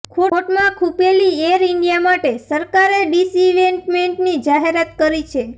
ખોટમાં ખૂંપેલી air India માટે સરકારે ડિસઈન્વેસ્ટમેન્ટની જાહેરાત કરી છે